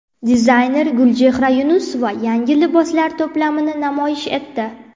Dizayner Gulchehra Yunusova yangi liboslar to′plamini namoyish etdi .